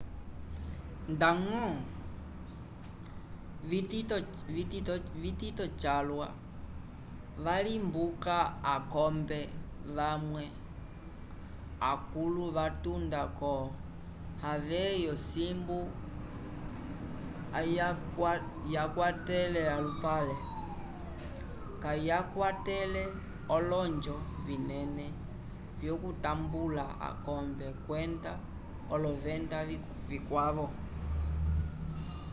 ndaño vitito calwa valimbuka akombe vamwe akũlu vatunda ko havai osimbu ayakwatele alupale kayakwetele olonjo vinene vyokutambula akombe kwenda olovenda vikwavo